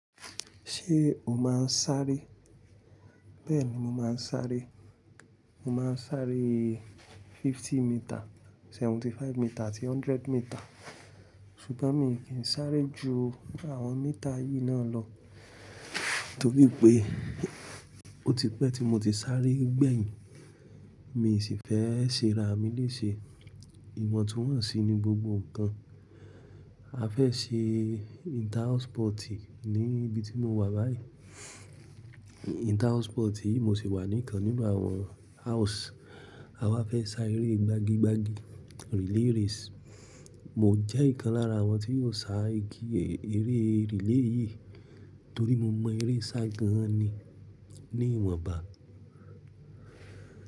Ṣé o máa ń sáré? Bẹ́ẹ̀ni mo máa ń sáré. Mo máa ń sáré fifty metre, seventy five metre àti hundred metre. Ṣùgbọ́n mi kì í sáré ju àwọn metre yìí náà lọ torípé ó ti pẹ́ tí mo ti sáré gbẹ̀yìn. Mi sì fẹ́ ṣe ra mi léṣe. Ìwọ̀n tún wọ́n sí i ní gbogbo nǹkan. A fẹ́ ṣe inter house sports ní ibi tí mo wà báyìí. Inter house sports yìí mo sì wà ní ìkan nínú àwọn house. A wá fẹ́ sá eré gbagi gbagi, relay race. Mo jẹ́ ìkan lára àwọn tí yóò sá igi eré relay yìí torí mo mọ eré sá gan ni ní ìwọ̀n ba.